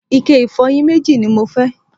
ike ìfọyín méjì ni mo fẹ́